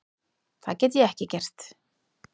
Það get ég ekki gert.